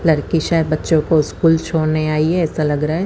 लडकी शायद बच्चो को स्कूल छोड़ने आइ है ऐसा लग रहा है।